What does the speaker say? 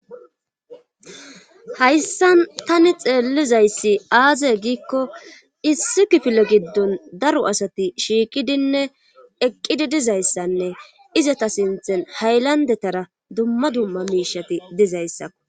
hayssan tani xeellizayssi aazey giikko issi kifile giddon daro asati shiiqidinne eqqidi dizayssanne izata sinththen haylandetara dumma dumma miishati dizayssakko